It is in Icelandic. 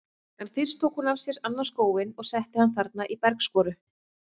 En fyrst tók hún af sér annan skóinn og setti hann þarna í bergskoru.